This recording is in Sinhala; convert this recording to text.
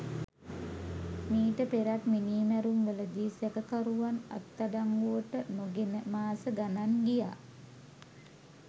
මීට පෙරත් මිනී මැරුම් වලදී සැකකරුවන් අත්අඩංගුවට නොගෙන මාස ගණන් ගියා.